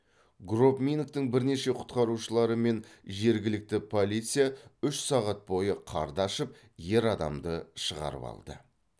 гробмингтің бірнеше құтқарушылары мен жергілікті полиция үш сағат бойы қарды аршып ер адамды шығарып алды